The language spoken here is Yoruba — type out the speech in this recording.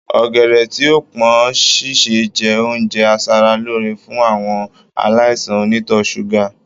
Ọ̀gẹ̀dẹ̀ tí ò pọ́n sísè jẹ́ oúnjẹ aṣara lóore fún àwọn aláìsàn onítọ̀ ṣúgà